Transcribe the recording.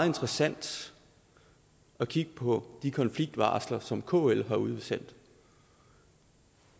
interessant at kigge på de konfliktvarsler som kl har udsendt